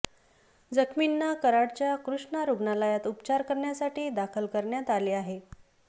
जखमींना कराडच्या कृष्णा रुग्णालयात उपचार करण्यासाठी दाखल करण्यात आले आहे